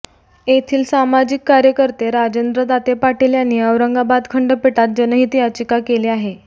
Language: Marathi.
येथील सामाजिक कार्यकर्ते राजेंद्र दाते पाटील यांनी औरंगाबाद खंडपीठात जनहित याचिका केली आहे